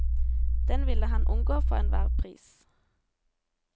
Den ville han unngå for enhver pris.